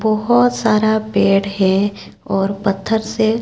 बहुत सारा पेड़ है और पत्थर से--